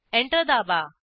enter दाबा